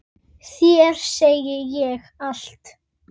Þér segi ég allt.